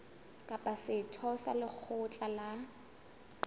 kapa setho sa lekgotla la